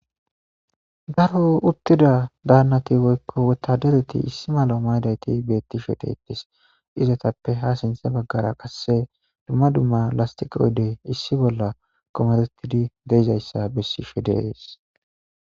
Garo uttida daannati woykko wotadereti issi malo maydayti beetti shote itis izotappe ha sinthe baggara qasse dumma dumma lastiqaoydey issi bolla komeretidi deizayssa bessi sho dees.